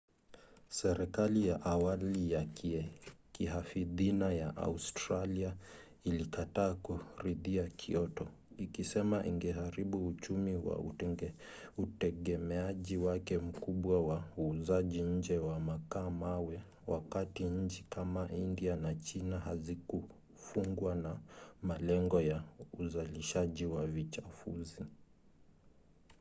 serikali ya awali ya kihafidhina ya australia ilikataa kuridhia kyoto ikisema ingeharibu uchumi kwa utegemeaji wake mkubwa wa uuzaji nje wa makaa-mawe wakati nchi kama india na china hazikufungwa na malengo ya uzalishaji wa vichafuzi